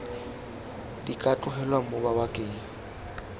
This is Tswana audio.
di ka tlogelwang mo mabakeng